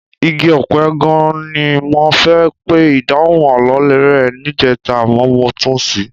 Igi ọ̀pẹ gan-an ni mo fẹ́ pe ìdáhùn àlọ́ rẹ níjẹta àmọ́ mo tún ṣì í.